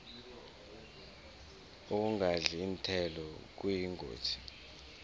ukungadli iinthelo kuyingozi